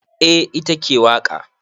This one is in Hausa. Eh ita ke waƙa.